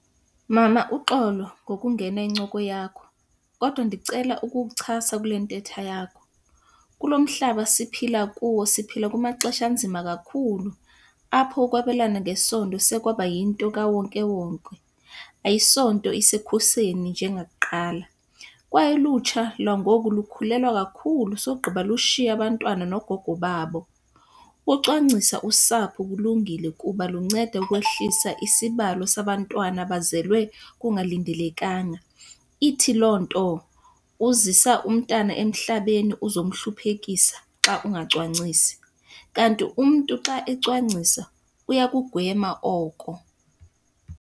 Mama, uxolo ngokungena incoko yakho, kodwa ndicela ukukuchasa kule ntetha yakho. Kulo mhlaba siphila kuwo siphila kumaxesha anzima kakhulu, apho ukwabelana ngesondo sekwaba yinto kawonkewonke. Ayisonto isekhuseni njengakuqala, kwaye ukutsha lwangoku lukhulelwa kakhulu sogqiba lushiye abantwana noogogo babo. Ucwangcisa usapho kulungile kuba lunceda ukwehlisa isibalo sabantwana abazelwe kungalindelekanga. Ithi loo nto uzisa umntana emhlabeni uzomhluphekisa xa ungacwangcisi, kanti umntu xa ecwangcisa uyakugwema oko.